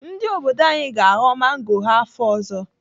Ndị obodo anyị ga-aghọ mango ha afọ ọzọ.